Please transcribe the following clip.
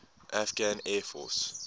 afghan air force